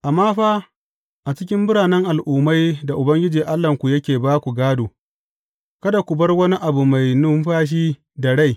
Amma fa, a cikin biranen al’ummai da Ubangiji Allahnku yake ba ku gādo, kada ku bar wani abu mai numfashi da rai.